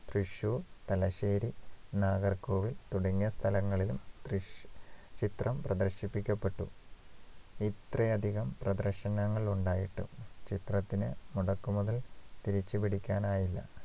തൃശൂർ തലശ്ശേരി നാഗർകോവിൽ തുടങ്ങിയ സ്ഥലങ്ങളിലും തൃശ് ചിത്രം പ്രദർശിപ്പിക്കപ്പെട്ടു ഇത്രയധികം പ്രദർശനങ്ങൾ ഉണ്ടായിട്ടും ചിത്രത്തിന് മുടക്കു മുതൽ തിരിച്ചുപിടിക്കാനായില്ല